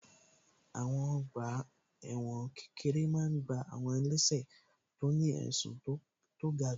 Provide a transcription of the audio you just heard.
Àwọn ọgbà ẹ̀wọ̀n kékeré máa n gbá àwọn ẹlẹ́sẹ̀ tó ní ẹ̀sùn tí kò ga jù